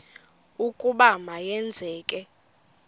ukuba ma yenzeke